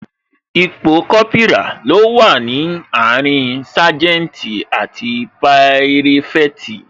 Ipò Kópírà ni ó wà láàrin saganti àti pirafeti